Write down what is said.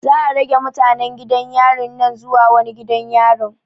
Za'a rage mutanen gidan yarin nan zuwa wani gidan yarin.